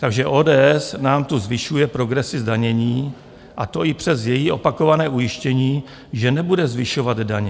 Takže ODS nám tu zvyšuje progresi zdanění, a to i přes její opakované ujištění, že nebude zvyšovat daně.